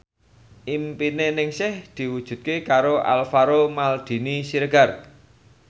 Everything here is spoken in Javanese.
impine Ningsih diwujudke karo Alvaro Maldini Siregar